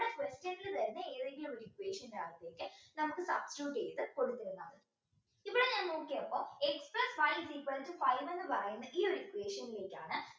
question ൽ തരുന്ന ഏതെങ്കിലും ഒരു equation ൻറെ അകത്ത് നമുക്ക് substitute ചെയ്ത് കൊടുക്കാം ഇവിടെ ഞാൻ നോക്കിയപ്പോ x plus y is equal to five എന്ന് പറയുന്ന ഈ ഒരു equation ലേക്കാണ്